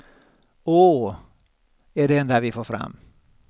Åååh, är det enda vi får fram.